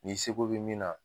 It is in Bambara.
Ni se ko bɛ min na